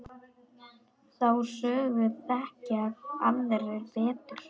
Þá sögu þekkja aðrir betur.